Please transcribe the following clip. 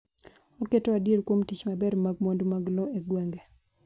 oketo adier kuom tich maber mag mwandu mag lowo e gwenge